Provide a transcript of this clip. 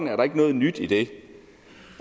er noget nyt i det